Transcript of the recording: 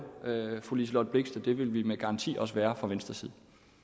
fru liselott blixt at det vil vi med garanti også være fra venstres side